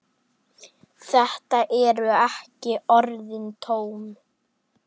Þetta eru ekki orðin tóm.